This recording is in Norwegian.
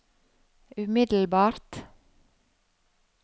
umiddelbart